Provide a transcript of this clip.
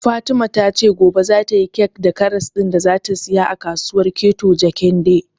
Fatima ta ce gobe za ta yi kek da karas ɗin da za ta saya a kasuwar Keto Jakende